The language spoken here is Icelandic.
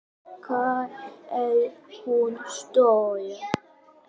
Hvað er hún stór?